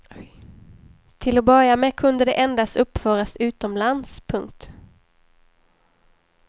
Till att börja med kunde det endast uppföras utomlands. punkt